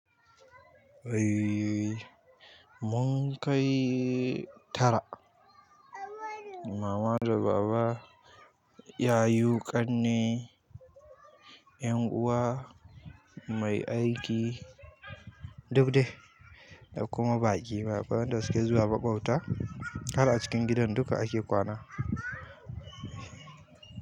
Mun kai tara, mama da baba, yayu, ƙanne, ƴan'uwa, mai aiki duk dai da kuma baƙi. Waɗanda suke zuwa baɓauta har a cikin gidan duka ake kwana.